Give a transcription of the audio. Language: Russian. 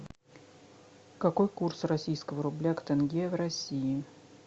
какой курс российского рубля к тенге в россии